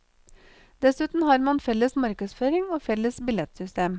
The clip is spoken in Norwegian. Dessuten har man felles markedsføring og felles billettsystem.